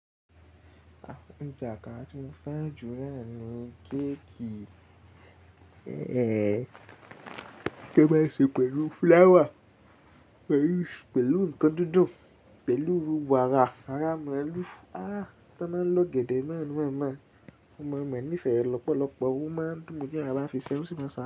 Àwọn ọjà kan tí mo fẹ́ jù níyẹn ni géètì, ẹ́, kí ó má ṣe pẹ̀lú fúláwà, pẹ̀lú ǹkan dídùn, pẹ̀lú wàrà, ara mi ẹlú, ará ti wọ́n máa ń lọ gẹ̀dẹ̀ náà ni mo mọ̀. Ọmọ mi ò ní ìfẹ́ lọ́pọ̀lọpọ̀, ó máa ń dùn mí tí ara fi ṣẹ́wọ́ sí i.